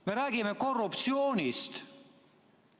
Me räägime korruptsioonist!